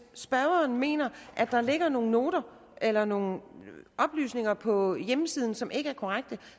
spørgeren mener at der ligger nogle noter eller nogle oplysninger på hjemmesiden som ikke er korrekte